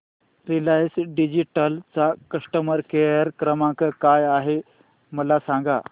Reliance Digital चा customer care क्रमांक काय आहे मला सांगा